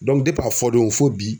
a fɔdon fo bi.